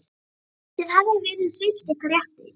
Þið hafið verið svipt ykkar rétti.